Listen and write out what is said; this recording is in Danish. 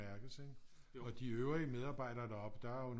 Mærkes ikke og de øvrige medarbejdere deroppe der er jo